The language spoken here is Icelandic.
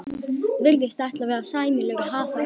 Virðist ætla að verða sæmilegur hasar.